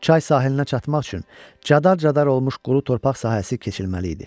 Çay sahilinə çatmaq üçün cadar-cadar olmuş quru torpaq sahəsi keçilməli idi.